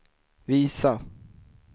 visa